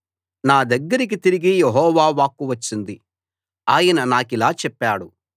నా దగ్గరికి తిరిగి యెహోవా వాక్కు వచ్చింది ఆయన నాకిలా చెప్పాడు